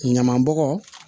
Ɲaman bɔgɔ